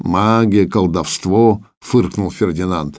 магия колдовство фыркнул фердинант